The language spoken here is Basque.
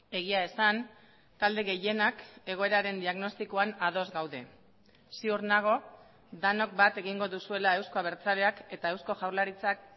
egia esan talde gehienak egoeraren diagnostikoan ados gaude ziur nago denok bat egingo duzuela euzko abertzaleak eta eusko jaurlaritzak